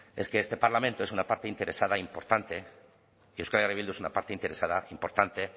es que este parlamento es una partida interesada importante euskal herria bildu es una parte interesada importante